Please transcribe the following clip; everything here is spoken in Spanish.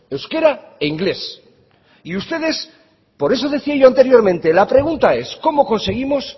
euskera e inglés y ustedes por eso decía yo anteriormente la pregunta es cómo conseguimos